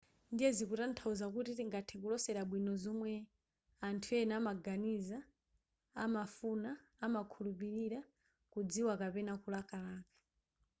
ndiye zikutanthauza kuti tingathe kulosera bwino zomwe anthu ena amaganiza amafuna amakhulupilira kudziwa kapena kulakalaka